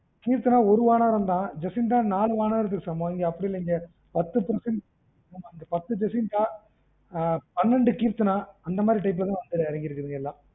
keerthna ஒரு வானரம் தான் jeesintha நாலு வானரத்துக்கு சமம் இது அப்படியில்ல பத்து percent பத்து jeesintha ஆஹ் பன்னெண்டு Keerthana அந்த மாரி type ல தான் வந்து இறங்கிருக்கு எல்லாம்